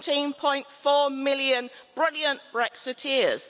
17.4 million brilliant Brexiteers.